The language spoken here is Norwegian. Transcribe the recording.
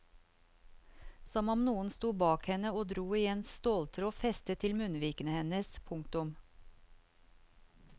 Som om noen sto bak henne og dro i en ståltråd festet til munnvikene hennes. punktum